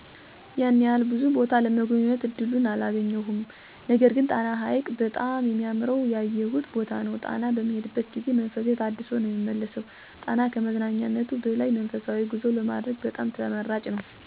ያን ያህል ብዙ ቦታ ለመጎብኘት እድሉን አላገኘሁም። ነገርግን ጣና ሀይቅ በጣም ሚያምረዉ ያየሁት ቦታ ነዉ። ጣና በምሄድበት ጊዜ መንፈሴ ታድሶ ነዉ ምመለሰው። ጣና ከመዝናኛነት በላይ መንፈሳዊ ጉዞ ለማድረግ በጣም ተመራጭ ነዉ ምክንያቱም በውስጡ የደሴት ገዳማት ይገኙበታል። በተለይም ደግሞ አሁን ላይ የተደረጉ አከባቢውን የማስዋብ ስራዎች በጣም ውብ እና ለመዝናናት አመቺ አድርገውታል።